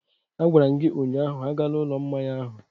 A gwara m gi ụnyahụ, agala ụlọ mmanya ahụ!